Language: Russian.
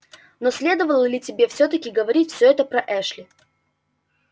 но следовало ли тебе всё таки говорить всё это про эшли